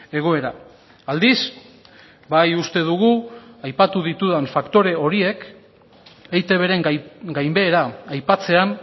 egoera aldiz bai uste dugu aipatu ditudan faktore horiek eitbren gainbehera aipatzean